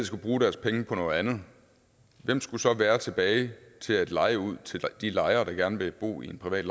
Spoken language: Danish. skulle bruge deres penge på noget andet hvem skulle så være tilbage til at leje ud til de lejere der gerne vil bo i en privat